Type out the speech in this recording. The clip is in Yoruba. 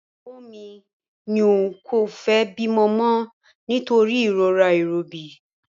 Ìyàwó mi ní òun kò fẹ́ bímọ mọ nítorí ìrora ìrọbí